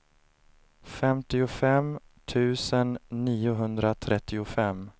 femtiofem tusen niohundratrettiofem